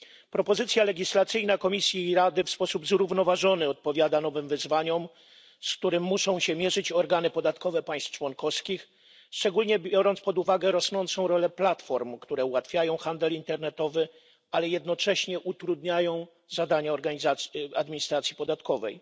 Propozycja legislacyjna Komisji i Rady w sposób zrównoważony odpowiada nowym wyzwaniom, z którymi muszą się mierzyć organy podatkowe państw członkowskich, szczególnie biorąc pod uwagę rosnącą rolę platform ułatwiających handel internetowy, ale jednocześnie utrudniających zadania administracji podatkowej.